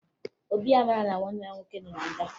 Obi amaghị na nwanne ya nwoke nọ na nga